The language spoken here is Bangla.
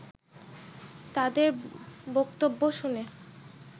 তাদের বক্তব্য শুনে